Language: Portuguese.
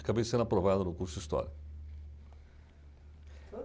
Acabei sendo aprovado no curso de História.